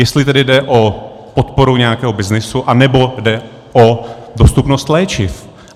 Jestli tedy jde o podporu nějakého byznysu, anebo jde o dostupnost léčiv.